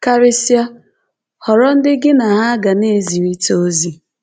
Karịsịa, họrọ ndị gị na ha ga na-ezirịta ozi